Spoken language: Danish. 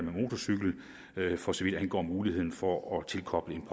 med motorcykler for så vidt angår muligheden for at tilkoble en